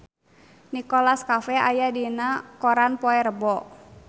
Nicholas Cafe aya dina koran poe Rebo